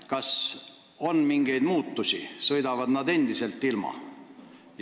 Kas on mingeid muutusi või sõidavad nad endiselt ilma teekasutustasu maksmata?